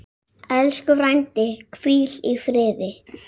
Elsku frændi, hvíl í friði.